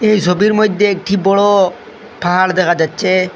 এই সোবির মইধ্যে একটি বড় পাহাড় দেখা যাচ্ছে।